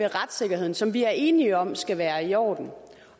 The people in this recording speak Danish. retssikkerheden som vi er enige om skal være i orden